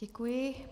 Děkuji.